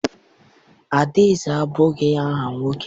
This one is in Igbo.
Adaeze abụ aha nwoke?